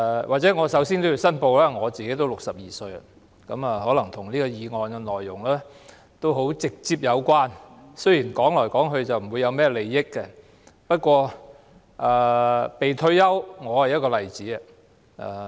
或者我首先也要申報，我已經62歲，可能與這項議案的內容直接有關，雖然單是談論，不會涉及甚麼利益，不過，說到"被退休"，我便是一個例子。